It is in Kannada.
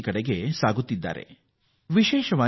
ಡಿಜಿಟಲ್ ವಹಿವಾಟು ಭಾರತದಲ್ಲಿ ತ್ವರಿತ ಏರಿಕೆ ಕಾಣುತ್ತಿದೆ